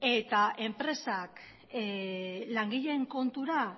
eta enpresak langileen kontura